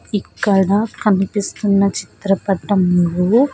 ఇక్కడ కనిపిస్తున్న చిత్రపటంలో.